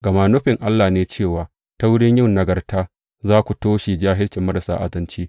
Gama nufin Allah ne cewa ta wurin yin nagarta za ku toshe jahilcin marasa azanci.